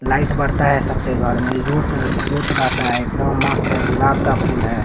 Light बरता है सबके घर में रहता है एकदम मस्त है गुलाब का फूल है।